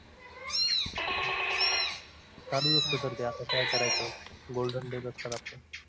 चालूच असते गर्दी आता काय करायचं golden days असतात आपले